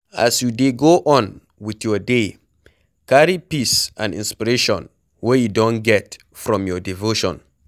As you dey go on with your day, carry peace and inspiration wey you don get from your devotion